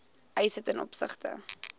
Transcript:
eise ten opsigte